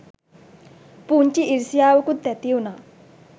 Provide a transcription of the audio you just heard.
පුංචි ඉරිසියාවකුත් ඇතිවුනා.